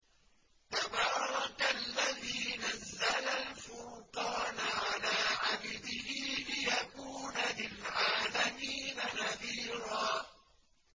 تَبَارَكَ الَّذِي نَزَّلَ الْفُرْقَانَ عَلَىٰ عَبْدِهِ لِيَكُونَ لِلْعَالَمِينَ نَذِيرًا